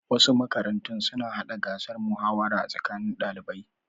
Wasu makarantun suna hada gasar muhawara a tsakanin ɗalibai.